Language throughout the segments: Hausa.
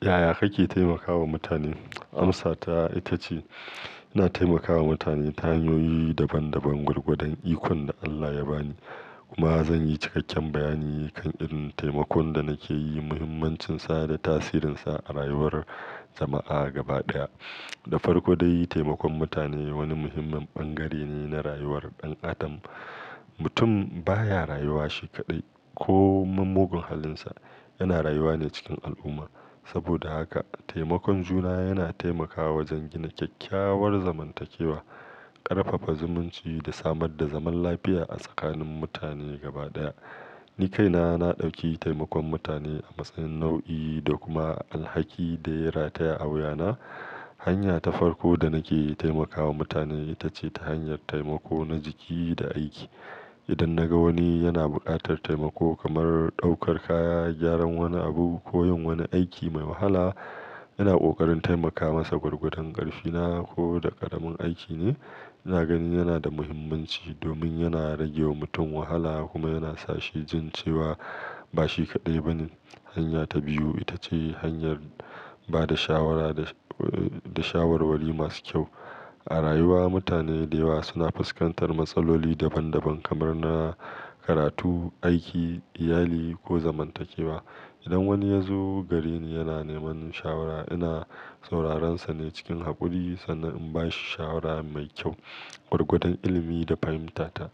Yaya kake taimakawa mutane? Amsa ta ita ce ina taimakawa mutane ta hanyoyi daban-daban gwargwadon ikon da Allah ya ba ni. Kuma zan yi cikakken bayani kan irin taimakon da nake yi, muhimmancinsa da tasirinsa a rayuwar jama'a gaba ɗaya. Da farko dai, taimakon mutane wani muhimmin bangare ne na rayuwar ɗan adam. Mutum baya rayuwa shi kaɗai ko min mugun halinsa, yana rayuwa ne cikin al'umma. Saboda haka, taimakon juna yana taimakawa wajen gina kyakkyawar zamantakewa, ƙarfafa zumunci da samar da zaman lafiya a tsakanin mutane gaba ɗaya. Ni kaina na ɗauki taimakon mutane a matsayin nau'i da kuma alhaki da ya rataya a wuyana. Hanya ta farko da nake yi taimakawa mutane ita ce ta hanyar taimako na jiki da aiki. Idan naga wani yana buƙatar taimako kamar ɗaukar kaya, gyaran wani abu ko yin wani aiki mai wahala, ina ƙoƙarin taimaka masa gwargwadon ƙarfina ko da ƙaramin aiki ne. Ina ganin yana da muhimmanci domin yana rage wa mutum wahala kuma yana sa shi jin cewa ba shi kaɗai ba ne. Hanya ta biyu ita ce hanyar ba da shawara da, da shawarwari masu kyau. A rayuwa mutane da yawa suna fuskantar matsaloli daban-daban kamar na karatu, aiki, iyali ko zamantakewa. Idan wani ya zo gareni yana neman shawara, ina sauraren sa ne cikin haƙuri sannan in ba shi shawara mai kyau gwargwadon ilimi da fahimtata.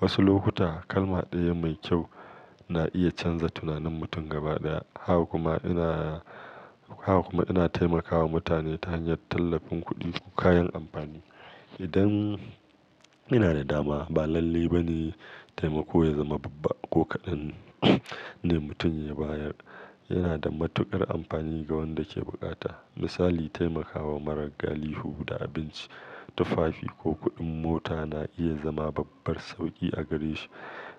Wasu lokuta kalma ɗaya mai kyau na iya canza tunanin mutum gaba ɗaya. Haka kuma ina, haka kuma ina taimakawa mutane ta hanyar tallafin kuɗi ko kayan amfani. Idan ina da dama ba lalle ba ne taimako ya zama babba ko kaɗan ne mutum ya bayar. Yana da matuƙar amfani ga wanda ke bukata. Misali, taimakawa marar galihu da abinci, tufafi ko kuɗin mota na iya zama babbar sauƙi a gare shi.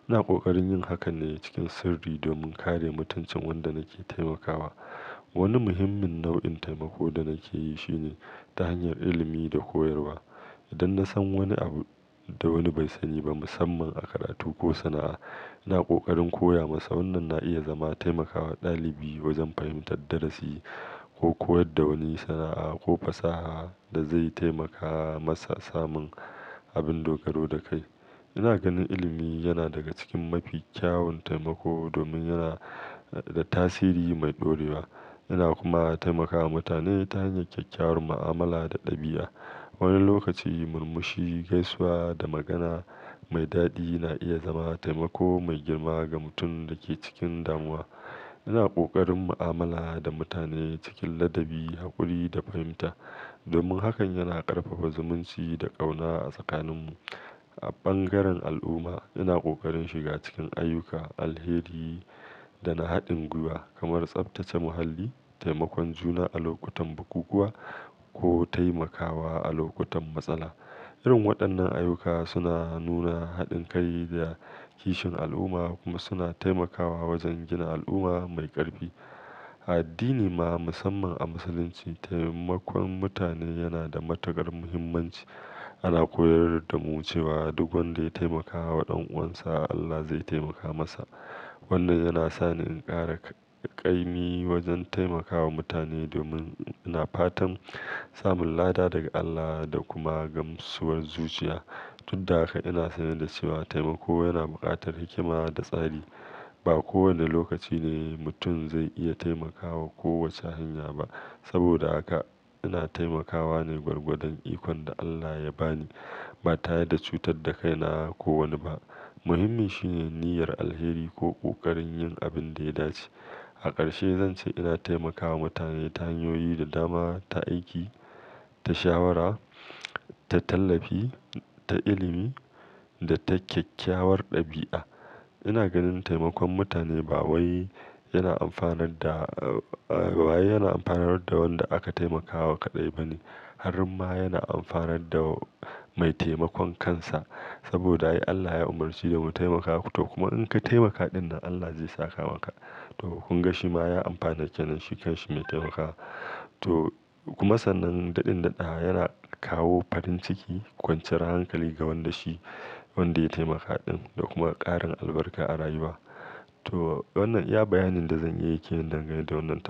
Ina ƙoƙarin yin hakan ne cikin sirri domin kare mutuncin wanda nake taimakawa. Wani muhimmin nau'in taimako da nake yi shi ne ta hanyar ilimi da koyarwa. Idan na san wani abu da wani bai sani ba musamman a karatu ko sana'a, ina ƙoƙarin koya masa. Wannan na iya zama taimakawa ɗalibi wajen fahimtar darasi ko koyar da wani sana'a ko fasaha da zai taimaka masa samun abun dogaro da kai. Ina ganin ilimi yana daga cikin mafi kyawun taimako domin yana da tasiri mai ɗorewa. Ina kuma taimakawa mutane ta hanyar kyakkyawar mu'amala da ɗabi'a. Wani lokaci murmushi, gaisuwa da magana mai daɗi na iya zama taimako mai girma ga mutum da ke cikin damuwa. Ina ƙoƙarin mu'amala da mutane cikin ladabi, haƙuri da fahimta domin hakan yana ƙarfafa zumunci da ƙauna a tsakaninmu. A bangaren al'umma, ina ƙoƙarin shiga cikin ayyuka alheri da na haɗin guiwa kamar tsaftace muhalli, taimakon juna a lokutan bukukuwa ko taimakawa a lokutan matsala. Irin waɗannan ayyuka suna nuna haɗin kai da kishin al'umma kuma suna taimakawa wajen gina al'umma mai ƙarfi. A addini ma, musamman a Musulunci, taimakon mutane yana da matuƙar muhimmanci. Ana koyar da mu cewa duk wanda ya taimakawa ɗan'uwansa Allah zai taimaka masa. Wannan yana sa ni in ƙara ƙaimi wajen taimakawa mutane domin ina fatan samun lada daga Allah da kuma gamsuwar zuciya. Tun da haka ina sane da cewa taimako yana buƙatar hikima da tsari. Ba kowane lokaci ne mutum zai iya taimakawa ko wace hanya ba. Saboda haka ina taimakawa ne gwargwadon ikon da Allah ya ba ni ba tare da cutar da kaina ko wani ba. Muhimmin shi ne niyyar alheri ko ƙoƙarin yin abin da ya dace. A ƙarshe zan ce ina taimakawa mutane ta hanyoyi da dama, ta aiki, ta shawara, ta tallafi, ta ilimi da ta kyakkyawar ɗabi'a. Ina ganin taimakon mutane ba wai yana amfanar da, a, ba wai yana amfanar da wanda aka taimakawa kaɗai ba ne. Har ma yana amfanar da mai taimakon kansa. Saboda ai Allah ya umarci da mu taimakawa kuma in ka taimaka ɗin nan Allah zai saka maka. To kun ga shi ma ya amfana kenan shi kan shi mai taimakawar. To kuma sannan daɗin daɗawa yana kawo farin ciki, kwanciyar hankali ga wanda shi wanda ya taimaka ɗin da kuma ƙarin albarka a rayuwa. To wannan iya bayanin da zan iya yi ke nan dangane da wannan tat.